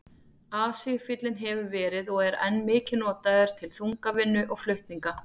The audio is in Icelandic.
Asíufíllinn hefur verið og er enn mikið notaður til þungavinnu og flutninga.